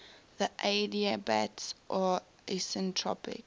the adiabats are isentropic